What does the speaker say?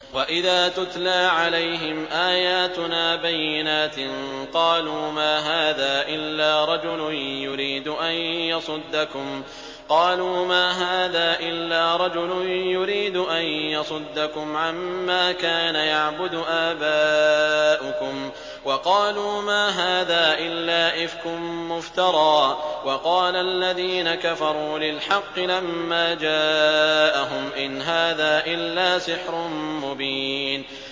وَإِذَا تُتْلَىٰ عَلَيْهِمْ آيَاتُنَا بَيِّنَاتٍ قَالُوا مَا هَٰذَا إِلَّا رَجُلٌ يُرِيدُ أَن يَصُدَّكُمْ عَمَّا كَانَ يَعْبُدُ آبَاؤُكُمْ وَقَالُوا مَا هَٰذَا إِلَّا إِفْكٌ مُّفْتَرًى ۚ وَقَالَ الَّذِينَ كَفَرُوا لِلْحَقِّ لَمَّا جَاءَهُمْ إِنْ هَٰذَا إِلَّا سِحْرٌ مُّبِينٌ